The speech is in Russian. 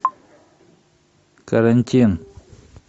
карантин